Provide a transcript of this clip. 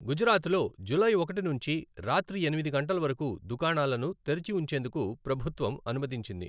గుజరాత్లో జూలై ఒకటి నుంచి రాత్రి ఎనిమిది గంటలవరకు దుకాణాలను తెరిచి ఉంచేందుకు ప్రభుత్వం అనుమతించింది.